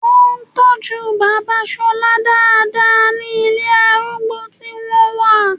Wọ́n ń tọ́jú bàbá Ṣọlá dáadáa ní ilé arúgbó tí wọ́n wà